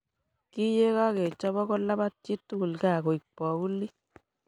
Kiyekakechoba kulabat chii tugul kaa koibu bokulii.